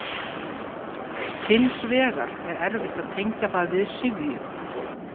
Hins vegar er erfitt að tengja það við syfju.